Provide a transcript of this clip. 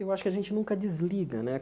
Eu acho que a gente nunca desliga, né?